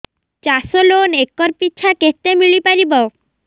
ଚାଷ loan acre ପିଛା କେତେ ମିଳି ପାରିବ